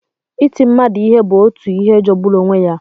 Iti mmadụ ihe bụ otu ihe jọgburu onwe ya.